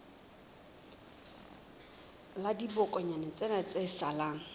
la dibokonyana tsena tse salang